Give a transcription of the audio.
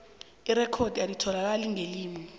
irekhodi alitholakali ngelimi